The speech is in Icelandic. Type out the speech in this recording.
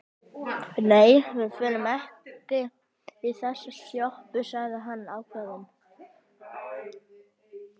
Nei, við förum ekki í þessa sjoppu, sagði hann ákveðinn.